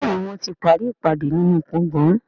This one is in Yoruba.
Béèni wón tí parí ìpàdé nínú gboôgan.